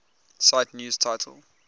cite news title